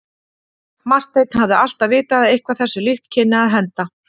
Marteinn hafði alltaf vitað að eitthvað þessu líkt kynni að henda.